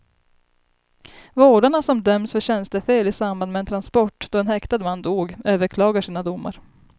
Vårdarna som dömts för tjänstefel i samband med en transport då en häktad man dog, överklagar sina domar.